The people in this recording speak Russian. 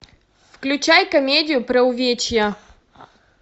включай комедию про увечья